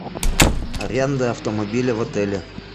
аренда автомобиля в отеле